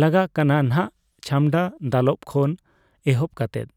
ᱞᱟᱜᱟᱜ ᱠᱟᱱᱟ ᱱᱟᱜᱷ ᱪᱷᱟᱢᱰᱟ ᱫᱟᱞᱚᱵ ᱠᱷᱚᱱ ᱮᱦᱚᱵ ᱠᱟᱛᱮᱫ